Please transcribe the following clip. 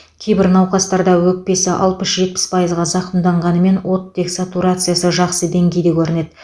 кейбір науқастарда өкпесі алпыс жетпіс пайызға зақымданғанымен оттек сатурациясы жақсы деңгейде көрінеді